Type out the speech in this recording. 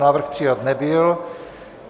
Návrh přijat nebyl.